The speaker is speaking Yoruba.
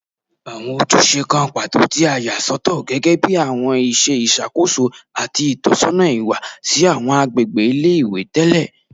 Awọn ojuse kan pato ti a sọtọ gẹgẹbi awọn iṣẹ iṣakoso ati itọsọna iwa si awọn agbegbe ile-iwe tẹlẹ